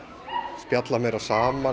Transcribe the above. spjalla meira saman